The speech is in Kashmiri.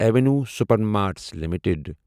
avenue Supermarts limited